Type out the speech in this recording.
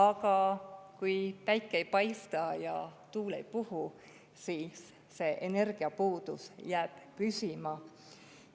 Aga kui päike ei paista ja tuul ei puhu, siis see energiapuudus jääb püsima.